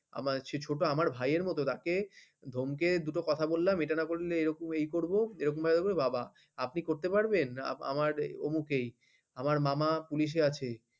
আমার চেয়ে ছোট আমার ভাইয়ের মত তাকে ধমকে দুটো কথা বললাম এটা না করলে এরকম এই করবো এরকম ভাবে বললে বাবা আপনি করতে পারবেন আমার অমুক এই আমার মামা পুলিশে আছে